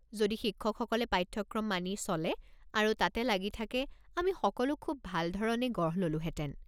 যদি শিক্ষকসকলে পাঠ্যক্ৰম মানি চলে আৰু তাতে লাগি থাকে আমি সকলো খুব ভাল ধৰণে গঢ় ল'লোহেঁতেন।